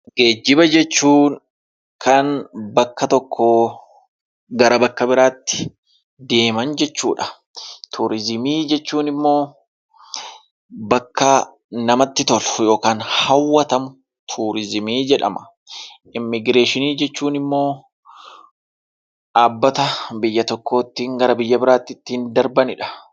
Geejjiba jechuun kan bakka tokkoo gara bakka biraatti deeman jechuudha. Turizimii jechuun immoo bakka namatti tolu yookaan hawwatamu turizimii jedhama. Immigireeshinii jechuun immoo dhaabbata biyya tokkootti biyya biraatti ittiin darbanidha.